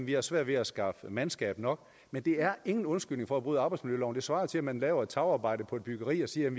de har svært ved at skaffe mandskab nok men det er ingen undskyldning for at bryde arbejdsmiljøloven det svarer jo til at man laver et tagarbejde på et byggeri og siger